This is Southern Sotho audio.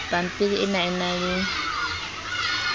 pampiri ena e na le